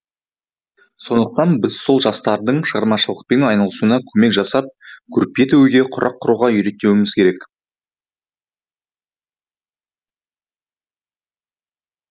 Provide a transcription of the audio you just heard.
сондықтан біз сол жастардың шығармашылықпен айналысуына көмек жасап көрпе тігуге құрақ құруға үйретуіміз керек